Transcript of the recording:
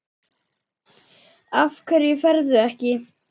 Af hverju ferðu ekki?